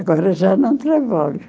Agora já não trabalho.